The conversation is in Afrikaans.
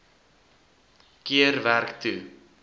keer werk toe